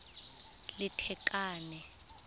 lethakane